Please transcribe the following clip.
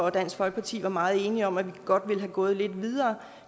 og dansk folkeparti var meget enige om at vi godt ville være gået lidt videre